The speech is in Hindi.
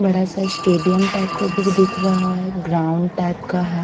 बड़ा सा स्टेडियम टाइप का कुछ दिख रहा है ग्राउन्ड टाइप का है।